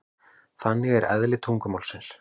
Þannig er eðli tungumálsins.